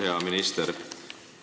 Hea minister!